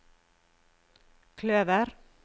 kløver